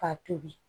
K'a tobi